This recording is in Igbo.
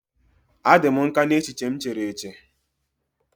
A dị m nkà n'echiche m chere eche.